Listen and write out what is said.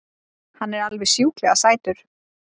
Hann er alveg sjúklega sætur!